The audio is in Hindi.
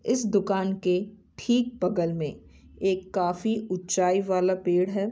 इस दुकान के ठीक बगल मे एक काफी उच्चाई वाला पेड़ है ।